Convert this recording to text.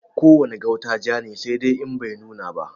Ko wane gauta ja ne, saidai In bai nuna ba.